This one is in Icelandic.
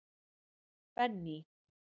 Benný